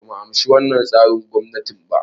Bumu amshi wannan tsarin gwamnatin ba